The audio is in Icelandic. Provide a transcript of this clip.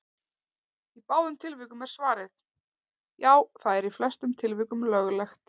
Í báðum tilvikum er svarið: Já, það er í flestum tilvikum löglegt.